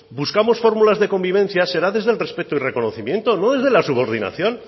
buscamos fórmulas de convivencia será desde el respeto y reconocimiento no desde la subordinación